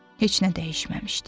Heç nə dəyişməmişdi.